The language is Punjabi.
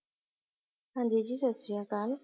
ਹਾਂਜੀ ਜੀ ਸਤ ਸ਼੍ਰੀ ਅਕਾਲ